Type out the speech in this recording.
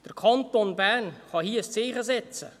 Der Kanton Bern kann hier ein Zeichen setzten.